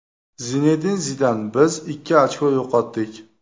Zinedin Zidan: Biz ikki ochko yo‘qotdik !